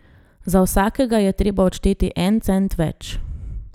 Za vsakega je treba odšteti en cent več.